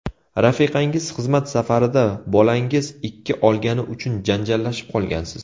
Rafiqangiz xizmat safarida, bolangiz ikki olgani uchun janjallashib qolgansiz.